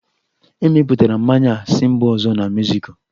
Emepụtara mmanya a si mba ọzọ na Mexico